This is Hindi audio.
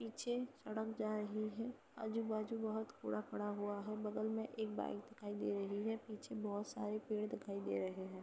पीछे सड़क जा रही है। आजू-बाजू बहुत कूड़ा पड़ा हुआ है। बगल में एक बाइक दिखाई दे रही है। पीछे बहुत सारे पेड़ दिखाई दे रहे है।